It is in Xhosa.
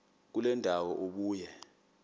kule ndawo ubuye